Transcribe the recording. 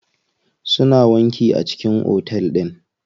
Suna wanki a cikin otel din.